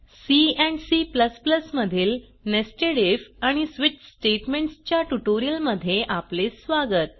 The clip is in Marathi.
सी एंड C मधील नेस्टेड आयएफ आणि स्विच स्टेटमेंट्स च्या ट्युटोरियलमध्ये आपले स्वागत